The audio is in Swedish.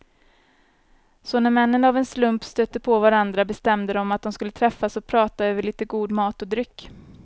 Så när männen av en slump stötte på varandra bestämde de att de skulle träffas och prata över lite god mat och dryck.